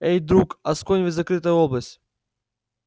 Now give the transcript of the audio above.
эй друг асконь ведь закрытая область